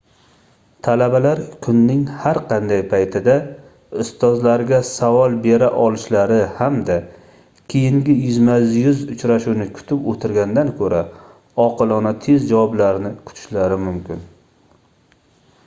talabalar kunning har qanday paytida ustozlariga savol bera olishlari hamda keyingi yuzma-yuz uchrashuvni kutib oʻtirgandan koʻra oqilona tez javoblarni kutishlari mumkin